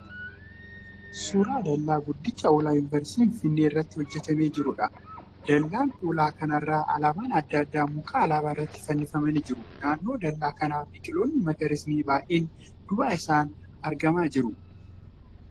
Suuraa dal'aa guddicha ulaa 'yuunversiitii' Finfinnee irratti hojjatamee jiruudha. Dal'aa ulaa kana irra alaabaan adda addaa muka alaabaa irratti fannifamanii jiru. Naannoo dal'aa kanaa biqiloonni magariisni baay'een duuba isaan argamaa jiru.